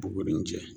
Bɔgɔ nin cɛ